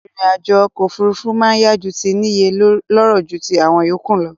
Ìrìn àjò okò òfurufú ma n yá ju ti níye lóró ju ti àwon yòkúù lo